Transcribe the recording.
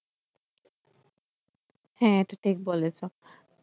হ্যাঁ এটা ঠিক বলেছো ।